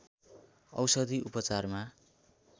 औषधि उपचारमा